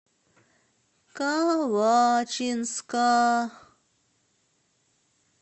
калачинска